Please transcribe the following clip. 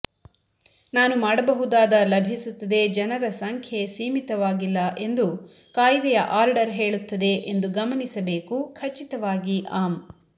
ನಾನು ಮಾಡಬಹುದಾದ ಲಭಿಸುತ್ತದೆ ಜನರ ಸಂಖ್ಯೆ ಸೀಮಿತವಾಗಿಲ್ಲ ಎಂದು ಕಾಯ್ದೆಯ ಆರ್ಡರ್ ಹೇಳುತ್ತದೆ ಎಂದು ಗಮನಿಸಬೇಕು ಖಚಿತವಾಗಿ ಆಮ್